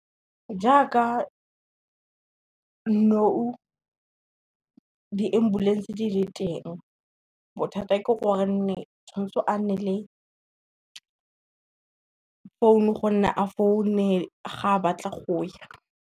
Jaaka nou di-ambulance di le teng bothata ke gore tshwanetse a nne le phone gonne a phone ga a batla go ya.